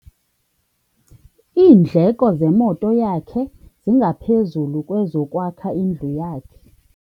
Iindleko zemoto yakhe zingaphezu kwezokwakha indlu yakhe.